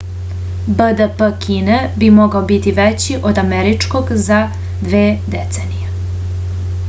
bdp kine bi mogao biti veći od američkog za dve decenije